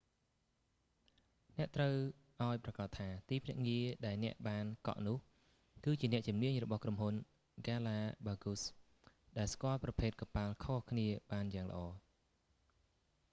អ្នកត្រូវឱ្យប្រាកដថា ទីភ្នាក់ងារដែលអ្នកបានកក់នោះ គឺជាអ្នកជំនាញរបស់ក្រុមហ៊ុនហ្គាឡាបាហ្គូស galapagos ដែលស្គាល់ប្រភេទកប៉ាល់ខុសៗគ្នាបានយ៉ាងល្អ